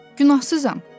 Günahsızam.